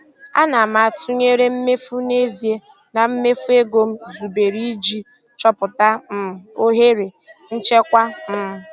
Ana m atụnyere mmefu n'ezie na mmefu ego m zubere iji chọpụta um ohere nchekwa. um